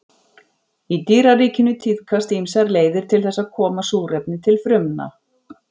Í dýraríkinu tíðkast ýmsar leiðir til þess að koma súrefni til frumna.